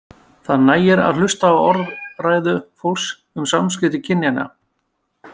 Það nægir að hlusta á orðræðu fólks um samskipti kynjanna.